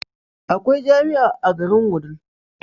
Akwai jamia a garin wudil